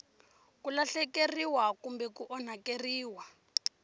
ku lahlekeriwa kumbe ku onhakeriwa